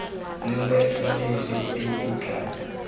nne faele e e tla